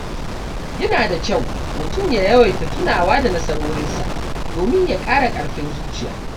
Yana da kyau mutum ya yawaita tunawa da nasarorinsa domin ya ƙara ƙarfin zuciya.